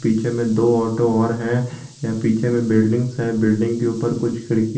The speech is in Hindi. पीछे में दो ऑटो और है यहाँ पीछे में बिल्डिंग है बिल्डिंग के ऊपर कुछ खिड़कियां।